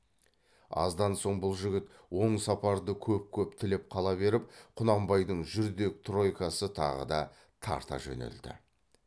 аздан соң бұл жігіт оң сапарды көп көп тілеп қала беріп құнанбайдың жүрдек тройкасы тағы да тарта жөнелді